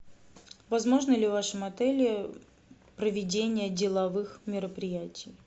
возможно ли в вашем отеле проведение деловых мероприятий